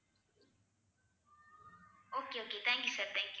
okay okay thank you sir thank you